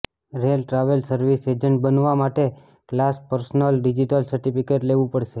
rail travel service agent બનવા માટે class personal digital certificate લેવું પડશે